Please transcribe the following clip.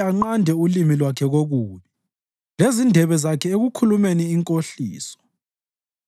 anqande ulimi lwakhe kokubi lezindebe zakhe ekukhulumeni inkohliso.